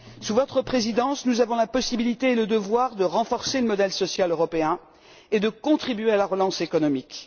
Sous votre présidence, nous avons la possibilité et le devoir de renforcer le modèle social européen et de contribuer à la relance économique.